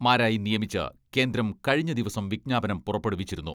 മാരായി നിയമിച്ച് കേന്ദ്രം കഴിഞ്ഞ ദിവസം വിജ്ഞാപനം പുറപ്പെടുവിച്ചിരുന്നു.